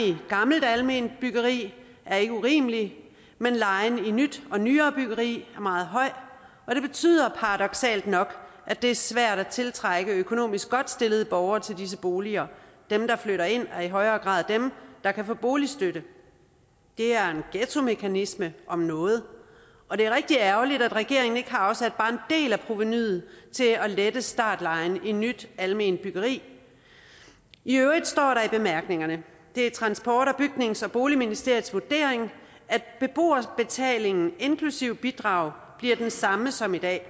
gammelt alment byggeri er ikke urimelig men lejen i nyt og nyere byggeri er meget høj og det betyder paradoksalt nok at det er svært at tiltrække økonomisk godt stillede borgere til disse boliger dem der flytter ind er i højere grad dem der kan få boligstøtte det er en ghettomekanisme om noget og det er rigtig ærgerligt at regeringen ikke har afsat bare en del af provenuet til at lette startlejen i nyt alment byggeri i øvrigt står der i bemærkningerne det er transport bygnings og boligministeriets vurdering at beboerbetalingen bliver den samme som i dag